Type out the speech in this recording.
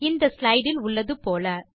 இந்த ஸ்லைடு இல் உள்ளது போல